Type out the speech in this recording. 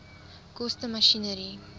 koste masjinerie